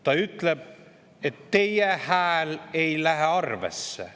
Ta ütleb: "Teie hääl ei lähe arvesse.